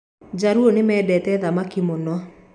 Jaluũ nimendete thamaki mũno